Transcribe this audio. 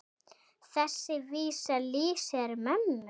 Þessi vísa lýsir mömmu.